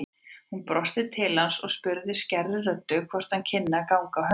Hún brosti til hans og spurði skærri röddu hvort hann kynni að ganga á höndum.